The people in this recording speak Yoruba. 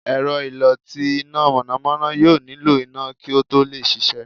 èrọ́ ìló tí ina mọnamọna yóò niló iná ki o to lẹ ṣiṣẹ.